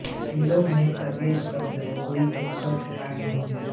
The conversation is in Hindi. फिनलैन्ड में कॉलेज शब्द का कोई एकल पर्याय नहीं है